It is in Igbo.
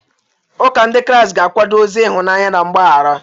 Ụka Ndị Kraịst ga-akwado ozi ịhụnanya na mgbaghara.